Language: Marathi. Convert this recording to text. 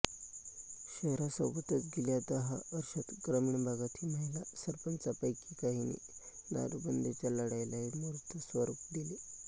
शहरांसोबतच गेल्या दहा वर्षांत ग्रामीण भागातही महिला सरपंचांपकी काहींनी दारूबंदीच्या लढाईलाही मूर्तस्वरूप दिले